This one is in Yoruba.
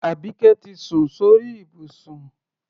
Àbíké ti sun sí orí ìbùsùn.